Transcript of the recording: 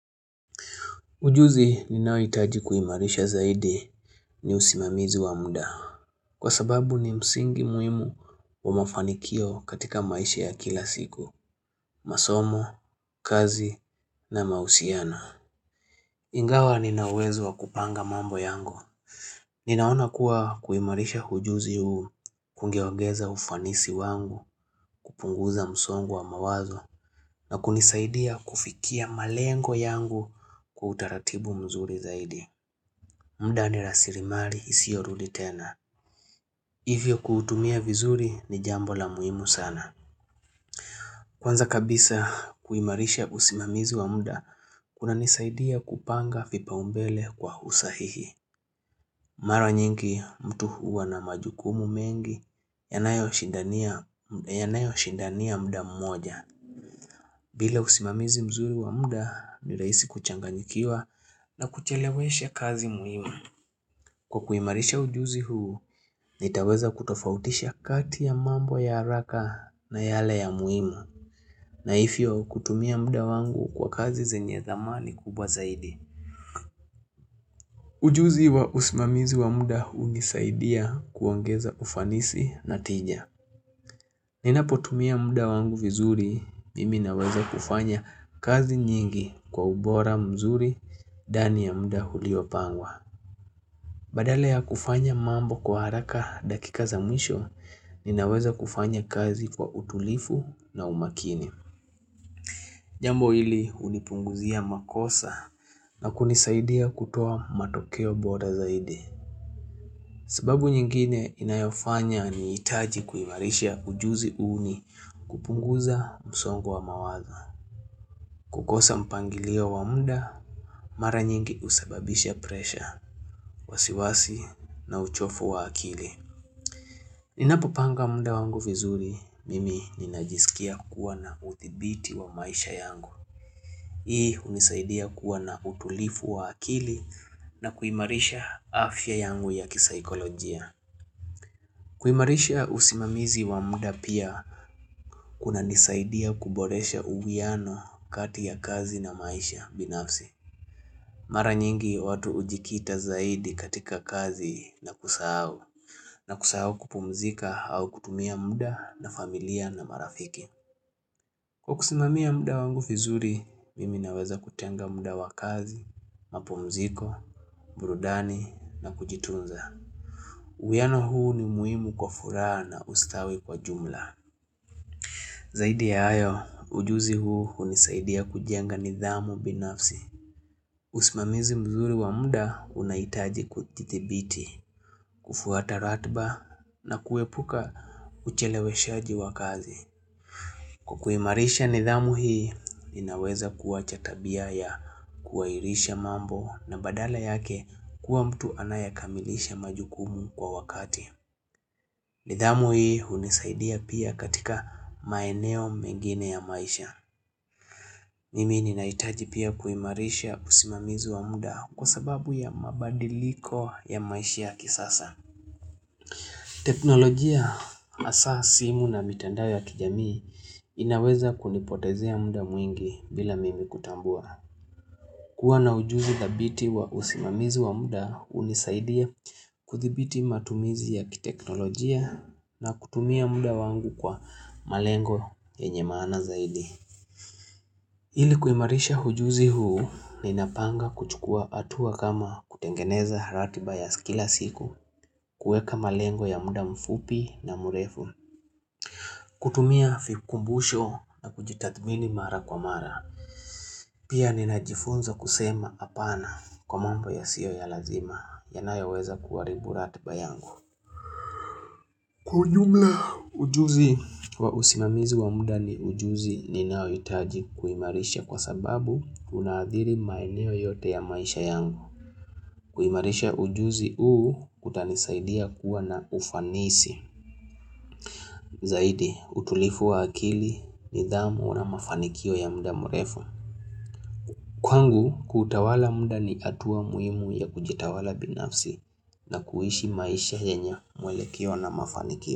Ujuzi ninaohitaji kuimarisha zaidi ni usimamizi wa muda. Kwa sababu ni msingi muhimu wa mafanikio katika maisha ya kila siku, masomo, kazi na mahusiano. Ingawa nina uwezo wa kupanga mambo yangu. Ninaona kuwa kuimarisha ujuzi huu ungeogeza ufanisi wangu kupunguza msongo wa mawazo na kunisaidia kufikia malengo yangu kwa utaratibu mzuri zaidi. Muda ni rasilimali isiyorudi tena. Hivyo kuutumia vizuri ni jambo la muhimu sana. Kwanza kabisa kuimarisha usimamizi wa muda, kunanisaidia kupanga vipaombele kwa usahihi. Mara nyingi mtu huwa na majukumu mengi, yanayoshindania muda mmoja. Bila usimamizi mzuri wa muda, nirahisi kuchanganyikiwa na kuchelewesha kazi muhimu. Kwa kuimarisha ujuzi huu, nitaweza kutofautisha kati ya mambo ya haraka na yale ya muhimu na hivyo kutumia muda wangu kwa kazi zenye zamani kubwa zaidi Ujuzi wa usimamizi wa muda hunisaidia kuongeza ufanisi na tija Ninapotumia muda wangu vizuri, mimi naweza kufanya kazi nyingi kwa ubora mzuri ndani ya muda uliopangwa Badala ya kufanya mambo kwa haraka dakika za mwisho, ninaweza kufanya kazi kwa utulivu na umakini. Jambo hili hunipunguzia makosa na kunisaidia kutoa matokeo bora zaidi. Sababu nyingine inayofanya nihitaji kuimarisha ujuzi hu nikupunguza msongo wa mawazo. Kukosa mpangilio wa muda, mara nyingi husababisha presha, wasiwasi na uchovu wa akili. Ninapopanga muda wangu vizuri, mimi ninajisikia kuwa na udhibiti wa maisha yangu. Hii hunisaidia kuwa na utulivu wa akili na kuimarisha afya yangu ya kisaikolojia. Kuimarisha usimamizi wa muda pia kunanisaidia kuboresha uwiano kati ya kazi na maisha binafsi. Mara nyingi watu hujikita zaidi katika kazi na kusahau na kusahau kupumzika au kutumia muda na familia na marafiki Kwa kusimamia muda wangu vizuri, mimi naweza kutenga muda wakazi, mapumziko, burudani na kujitunza uwiano huu ni muhimu kwa furaha na ustawi kwa jumla Zaidi ya hayo, ujuzi huu hunisaidia kujenga nidhamu binafsi usimamizi mzuri wa muda unahitaji kudhibiti, kufuata ratiba na kuepuka ucheleweshaji wakazi. Kwa kuimarisha nidhamu hii, inaweza kuwa cha tabia ya kuairisha mambo na badala yake kuwa mtu anayekamilisha majukumu kwa wakati. Nidhamu hii hunisaidia pia katika maeneo mengine ya maisha. Mimi ni nahitaji pia kuimarisha usimamizi wa muda kwa sababu ya mabadiliko ya maisha yakisasa. Teknolojia hasa simu na mitandao ya kijamii inaweza kunipotezea muda mwingi bila mimi kutambua. Kukua na ujuzi dhabiti wa usimamizu wa muda hunisaidia kudhibiti matumizi ya kiteknolojia na kutumia muda wangu kwa malengo yenye maana zaidi. Ili kuimarisha ujuzi huu, ninapanga kuchukua hatua kama kutengeneza ratiba ya kila siku, kueka malengo ya muda mfupi na mrefu, kutumia vikumbusho na kujitathmini mara kwa mara. Pia ninajifunza kusema hapana kwa mambo yasio ya lazima, yanayoweza kuharibu ratiba yangu. Kwa ujumla ujuzi wa usimamizi wa muda ni ujuzi ninaohitaji kuimarisha kwa sababu unaadhiri maeneo yote ya maisha yangu. Kuimarisha ujuzi huu kutanisaidia kuwa na ufanisi. Zaidi, utulivu wa akili nidhamu na mafanikio ya muda mrefu. Kwangu, kutawala muda ni hatua muhimu ya kujitawala binafsi na kuishi maisha yenye mwelekeo na mafanikio.